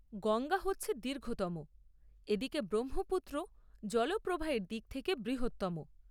গঙ্গা হচ্ছে দীর্ঘতম, এদিকে ব্রহ্মপুত্র জলপ্রবাহের দিক থেকে বৃহত্তম।